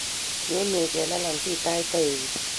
Nyon we chelalang' si taach taek kuk.